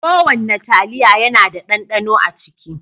Ko wanna taliya yana da ɗanɗano a ciki.